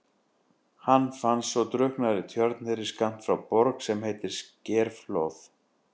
Hann fannst svo drukknaður í tjörn þeirri skammt frá Borg sem heitir Skerflóð.